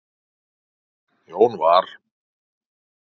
Jón var